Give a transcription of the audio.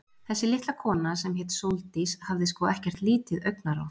Þessi litla kona, sem hét Sóldís, hafði sko ekkert lítið augnaráð.